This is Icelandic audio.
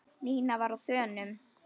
Nína var á þönum.